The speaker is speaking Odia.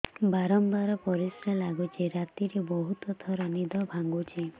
ବାରମ୍ବାର ପରିଶ୍ରା ଲାଗୁଚି ରାତିରେ ବହୁତ ଥର ନିଦ ଭାଙ୍ଗୁଛି